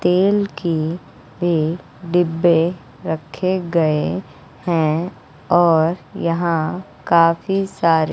तेल की भी डिब्बे रखे गए हैं और यहां काफी सारे--